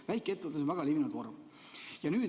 Väikeettevõtted on väga levinud vorm.